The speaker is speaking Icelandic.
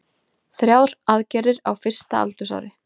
Þrjár aðgerðir á fyrsta aldursári